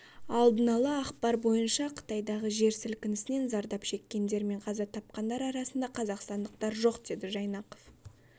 алдын-ала ақпар бойынша қытайдағы жер сілкінісінен зардап шеккендер мен қаза тапқандар арасында қазақстандықтар жоқ деді жайнақов